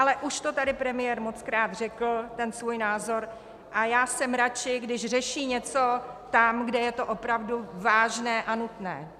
Ale už to tady premiér mockrát řekl, ten svůj názor, a já jsem radši, když řeší něco tam, kde je to opravdu vážné a nutné.